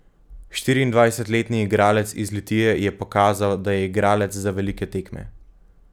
Štiriindvajsetletni igralec iz Litije je pokazal, da je igralec za velike tekme.